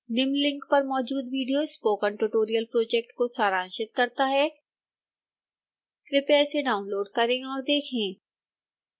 निम्न लिंक पर मौजूद विडियो स्पोकन ट्यूटोरियल प्रोजेक्ट को सारांशित करता है कृपया इसे डाउनलोड करें और देखें